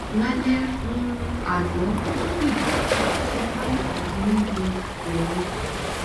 lálẹ um ana ó ń bi o si sọ pé ofun n dun oun